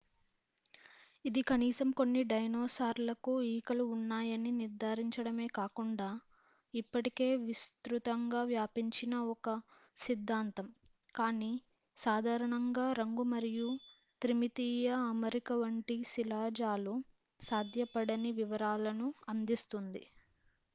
ఇది కనీసం కొన్ని డైనోసార్లకు ఈకలు ఉన్నాయని నిర్ధారించడమే కాకుండా ఇప్పటికే విస్తృతంగా వ్యాపించిన ఒక సిద్ధాంతం కానీ సాధారణంగా రంగు మరియు త్రిమితీయ అమరిక వంటి శిలాజాలు సాధ్యపడని వివరాలను అందిస్తుంది